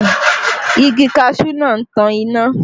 Igi kaṣuú náà tí ń tan iná